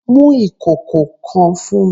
Mu ikoko kan fun mi!